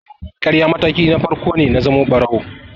Ƙarya mataki na farko ne na zamo ɓarawo.